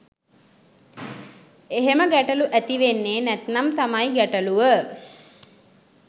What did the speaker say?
එහෙම ගැටලු ඇති වෙන්නේ නැත්නම් තමයි ගැටලුව